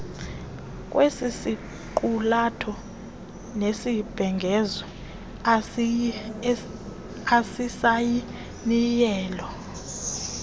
kwesisiqulatho nesibhengezo asisayinileyo